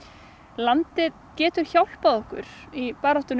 landið getur hjálpað okkur í baráttunni